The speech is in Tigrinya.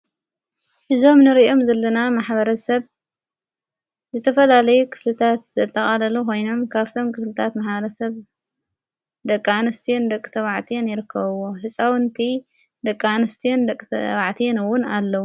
እዞም ንርእኦም ዘልለና ማኅበረ ሰብ ዘተፈላለይ ክፍልታት ዘተቓለሉ ኾይኖም ካፍቶም ክፍልታት መሓረ ሰብ ደቃንስትዮን ደቕተባዕትን ይርከውዎ ሕፃውንቲ ደቃንስትዮን ደቕዋዕትንውን ኣለዉ።